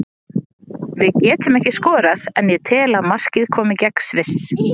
Við getum ekki skorað en ég tel að markið komi gegn Sviss.